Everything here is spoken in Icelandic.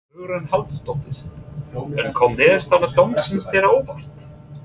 Hugrún Halldórsdóttir: En kom niðurstaða dómsins þér á óvart?